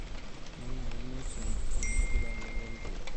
Nanare netum olaigurani lempira.